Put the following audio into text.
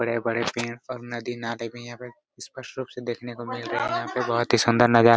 हरे भरे पेड़ पर नदी-नाले भी हैं यहाँ पर स्पष्ट रूप से देखने को मिल रहा बहुत ही सुन्दर नजारा--